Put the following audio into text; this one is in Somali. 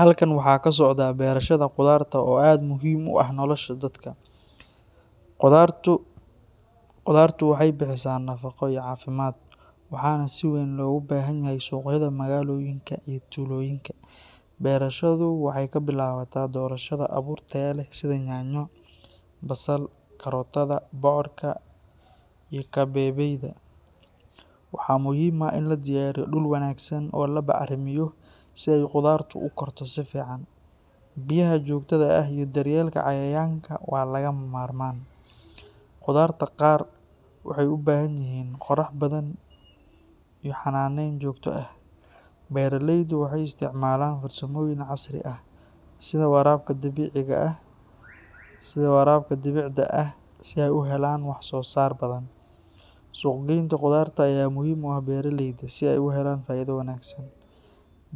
Halkan waxaa ka socdaah beerashada qudarta oo aad u muhiim ah nolosha dadka. Qudartu waxay bixisaa nafaqo iyo caafimaad, waxaana si weyn loogu baahan yahay suuqyada magaalooyinka iyo tuulooyinka. Beerashadu waxay ka bilaabataa doorashada abuur tayo leh sida yaanyo, basal, karootada, bocorka iyo kabeebeyda. Waxaa muhiim ah in la diyaariyo dhul wanaagsan oo la bacrimeeyo si ay qudartu u korto si fiican. Biyaha joogtada ah iyo daryeelka cayayaanka waa lagama maarmaan. Qudarta qaar waxay u baahan yihiin qorrax badan iyo xanaaneyn joogto ah. Beeraleydu waxay isticmaalaan farsamooyin casri ah sida waraabka dhibicda ah si ay u helaan wax-soo-saar badan. Suuq-geynta qudarta ayaa muhiim u ah beeraleyda si ay u helaan faa’iido wanaagsan.